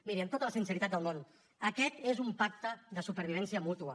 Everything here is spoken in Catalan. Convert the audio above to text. miri amb tota la sinceritat del món aquest és un pacte de supervivència mútua